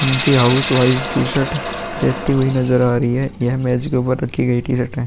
उनके house wise T-shirt देखती हुई नजर आ रही है। यह मेज के ऊपर रखी गई टी-शर्ट है।